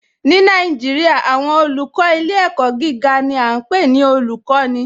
Ni Naijiria, awọn olùkọ ilẹ̀-ẹ̀kọ̀ giga ni a npe ni olùkọni